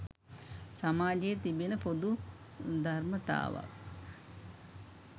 සමාජයේ තිබෙන පොදු ධර්මතාවක්.